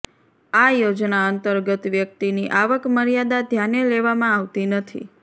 આ યોજના અંતર્ગત વ્યક્તિની આવક મર્યાદા ધ્યાને લેવામાં આવતી નથી